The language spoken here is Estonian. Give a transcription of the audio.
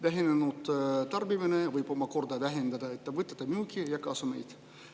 Vähenenud tarbimine võib omakorda vähendada ettevõtete müüki ja kasumit.